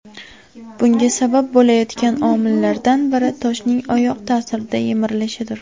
Bunga sabab bo‘layotgan omillardan biri toshning oyoq ta’sirida yemirilishidir.